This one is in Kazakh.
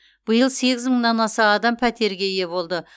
биыл сегіз мыңнан аса адам пәтерге ие болды